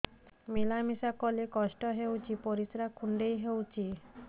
ମିଳା ମିଶା କଲେ କଷ୍ଟ ହେଉଚି ପରିସ୍ରା କୁଣ୍ଡେଇ ହଉଚି